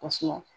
Kosɛbɛ